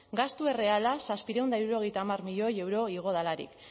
gastu erreala zazpiehun eta hirurogeita hamar milioi euro igo delarik